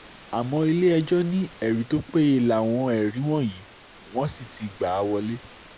àmọ́ ilé-ẹjọ́ ní ẹ̀rí tó péye láwọn ẹ̀rí wọ̀nyí wọ́n sì ti gbà á wọ́lẹ̀